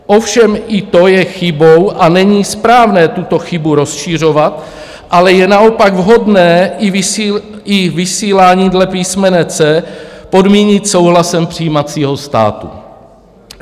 Ovšem i to je chybou a není správné tuto chybu rozšiřovat, ale je naopak vhodné i vysílání dle písmene c) podmínit souhlasem přijímacího státu."